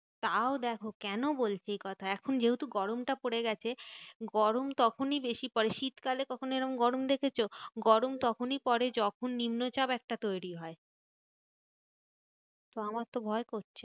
তাও দেখো কেন বলছি কথা? এখন যেহেতু গরমটা পরে গেছে গরম তখনই বেশি পরে শীতকালে কখনো এরম গরম দেখেছো? গরম তখনই পরে যখন নিম্নচাপ একটা তৈরী হয়। তো আমার তো ভয় করছে।